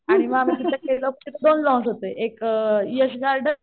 आणि मग आम्ही तिथे गेलोकी एक यश गार्डन.